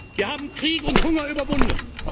wollten. Wir haben Krieg und Hunger überwunden.